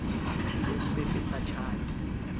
e be o pepesa tjhate